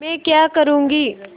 मैं क्या करूँगी